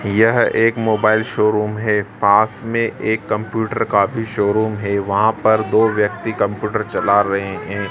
यह एक mobile showroom है पास में एक कंप्यूटर का भी शोरुम है वहां पर दो व्यक्ति कंप्यूटर चला रहे है।